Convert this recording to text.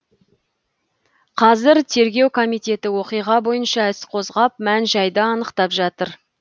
қазір тергеу комитеті оқиға бойынша іс қозғап мән жайды анықтап жатыр